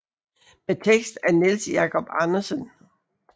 Med tekst af Niels Jacob Andersen